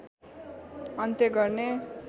अन्त्य गर्ने